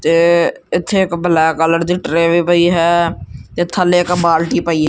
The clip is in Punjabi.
ਤੇ ਅਥੇ ਇੱਕ ਬਲੈਕ ਕਲਰ ਦੀ ਟਰੇ ਵੀ ਪਈ ਹੈ ਤੇ ਥੱਲੇ ਇੱਕ ਬਾਲਟੀ ਪਈ--